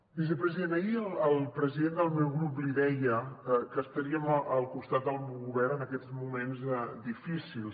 vicepresident ahir el president del meu grup li deia que estaríem al costat del govern en aquests moments difícils